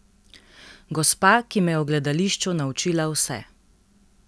Gospa, ki me je o gledališču naučila vse.